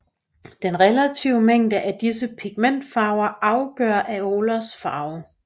Den relative mængde af disse pigmentfarver afgør areolas farve